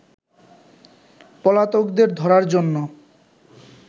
পলাতকদের ধরার জন্য